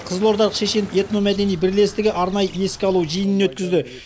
қызылордалық шешен этномәдени бірлестігі арнайы еске алу жиынын өткізді